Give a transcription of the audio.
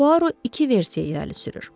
Puaro iki versiya irəli sürür.